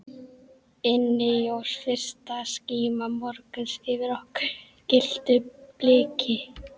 Inni jós fyrsta skíma morguns yfir okkur gylltu bliki.